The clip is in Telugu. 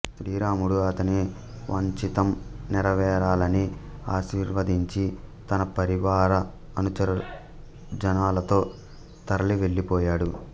శ్రీరాముడు అతని వాంఛితం నెరవేరాలని ఆశీర్వదించి తన పరివార అనుచరజనాలతో తరలి వెళ్ళీపోయాడు